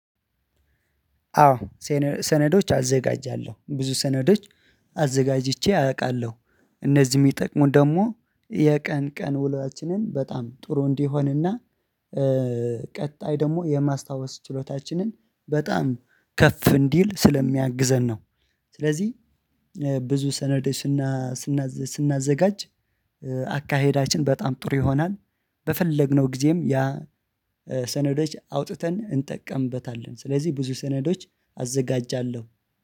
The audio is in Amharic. አዎ ሰነዶች አዘጋጃለሁ ብዙ ሰነዶች አዘጋጅቼ አውቃለሁ እነዚህ የሚጠቅሙን ደግሞ የቀን ቀን ውሏችንን በጣም ጥሩ እንዲሆንና ቀጣይ ደግሞ የማስታወስ ችሎታችንን በጣም ከፍ እንዲል ስለሚያግዘን ነው። ስለዚህ ብዙ ሰነድ ስና ስናዘጋጅ አካሄዳችን በጣም ጥሩ ይሆናል። በፈለግነው ጊዜም ያ ሰነዶች አውጥተን እንጠቀምበታለን ስለዚህ ብዙ ሰነዶች አዘጋጃለሁ